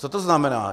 Co to znamená?